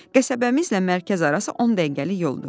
Qəsəbəmizlə mərkəz arası on dəqiqəlik yoldur.